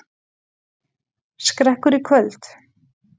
Skrekkur í kvöld